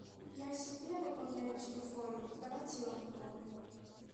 я себе пополняю телефон давайте и вам пополню